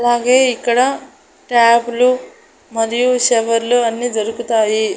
అలాగే ఇక్కడ టాబ్ లు మరియు షవర్లు అన్నీ దొరుకుతాయి.